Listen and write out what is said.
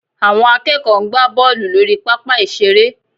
Àwọn akẹ́kọ̀ọ́ ń gbá bọ́ọ̀lù lórí pápá ìṣeré